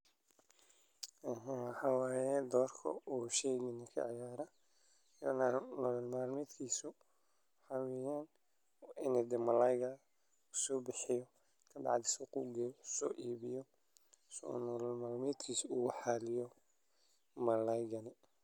Waxaa waye doorka uu bulshada kaciyaro in malayada lasoo bixiye suuqa lageeyo lasoo iibiyo si nolol malmeedka oogu xaliyo.